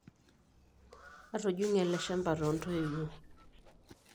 Atujung'o ele shamba toontoiwuo.